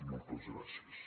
moltes gràcies